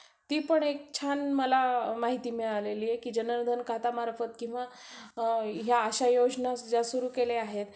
ती पण एक छान माहिती मला मिळालेली आहे की खाता मार्फत किंवा अ या अशा योजना ज्या सुरु केल्या आहेत.